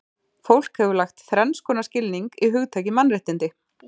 Fólk hefur lagt þrenns konar skilning í hugtakið mannréttindi.